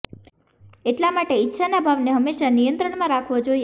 એટલા માટે ઈચ્છા ના ભાવ ને હંમેશા નિયંત્રણ માં રાખવો જોઈએ